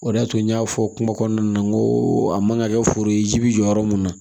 O de y'a to n y'a fɔ kuma kɔnɔna na n ko a man ka kɛ foro ye ji bɛ jɔ yɔrɔ mun na